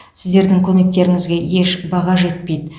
сіздердің көмектеріңізге еш баға жетпейді